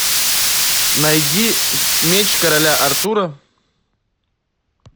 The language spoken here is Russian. найди меч короля артура